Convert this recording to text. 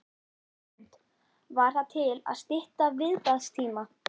Hrund: Var það til að stytta viðbragðstíma?